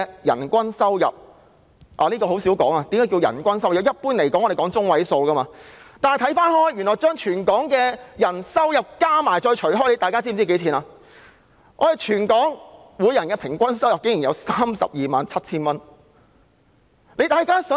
一般而言，我們在進行說明時會採用入息中位數，但若將全港市民的收入總和除以人數，全港人士的平均收入竟為 327,000 元。